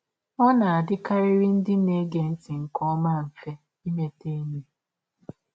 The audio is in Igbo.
Ọ na - adịkarịrị ndị na - ege ntị nke ọma mfe imeta enyi.